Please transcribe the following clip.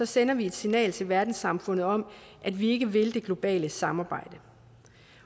sender vi et signal til verdenssamfundet om at vi ikke vil det globale samarbejde